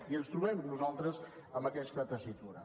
i ens trobem nosaltres en aquesta tessitura